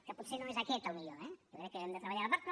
que potser no és aquest el millor eh jo crec que hem de treballar ho a part